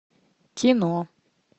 кино